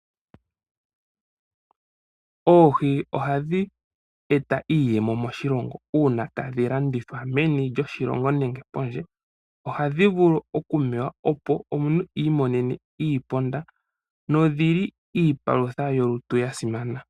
Oohi ohadhi eta iiyemo moshilongo uuna tadhi landithwa meni lyoshilongo nenge pondje. Ohadhi vulu okumewa opo omuntu i imonene iiponda nodhi li iipalutha yolutu ya simana.